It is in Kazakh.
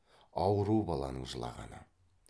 ауру баланың жылағаны